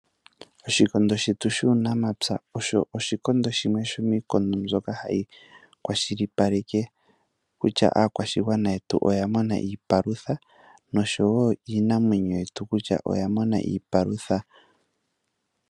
Oshikondo shwtu shuunamapya oaho oshikondo shimwe shomkondo mbyoka hayi kwashilipaleke kutya aakwashigwana yetu oya mona iipalutha noshowo iinamwenyo yetu kutya oyamona iipalutha.